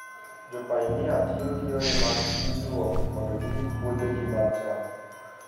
Jopainia tiyo gi yore mag pidhruok mondo girit puothegi mag cham.